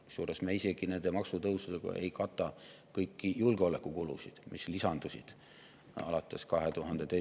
Kusjuures me ei kata nende maksutõusudega isegi kõiki julgeolekukulusid, mis on lisandunud alates [2022.